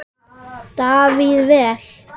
Davíð: Vel.